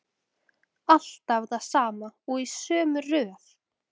Alltaf það sama og í sömu röð.